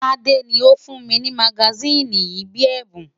Tade ni ó fún mi ní magasíìnì yìí bíi ẹ̀bùn.